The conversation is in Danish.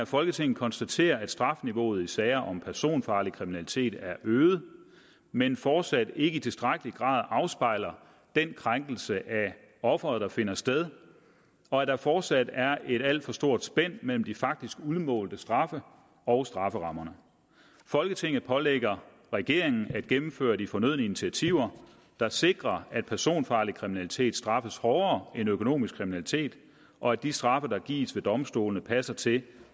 folketinget konstaterer at strafniveauet i sager om personfarlig kriminalitet er øget men fortsat ikke i tilstrækkelig grad afspejler den krænkelse af offeret der finder sted og at der fortsat er et alt for stort spænd mellem de faktisk udmålte straffe og strafferammerne folketinget pålægger regeringen at gennemføre de fornødne initiativer der sikrer at personfarlig kriminalitet straffes hårdere end økonomisk kriminalitet og at de straffe der gives ved domstolene passer til